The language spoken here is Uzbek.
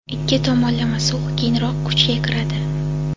ikki tomonlama sulh keyinroq kuchga kiradi.